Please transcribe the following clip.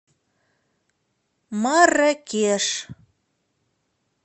марракеш